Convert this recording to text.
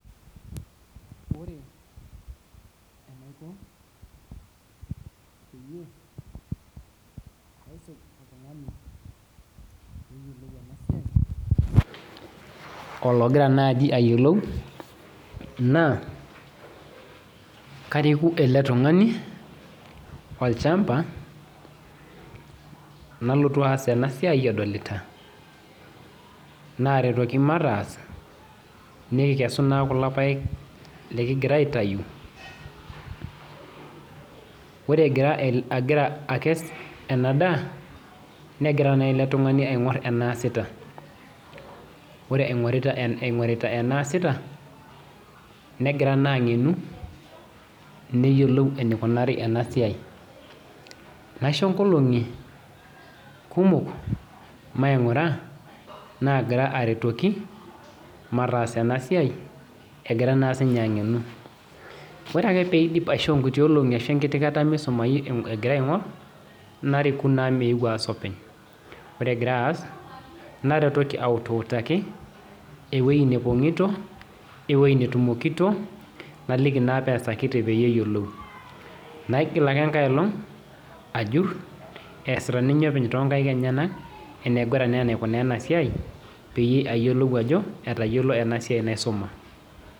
Ore ologira nai ayiolou na kariku eletungani olchamba nalotu aas enasiai edolita naretoki mataas nikikesu kulo paek lilinngira aitau ore agira akes ena daa negira na eletungani aingor enaasita ore ingorita enaasita negira naa angenu neyiolou enikunari enasiai, naisho nkolongi kumok maingura nagira aretoki matas enasiai egira na sinue angenu ore na paisho nkuti olongi metengenu egira aingor nariki naa meeu aas openy ore egira aas naretoki autaki iwoi natumokino, ewoi napongito peyie eyiolou naigil ake enkai olong ajur easita ninye tenkata nabo enegira naa aikuna enasia payiolou ajo etayiolo enasiai naisuma.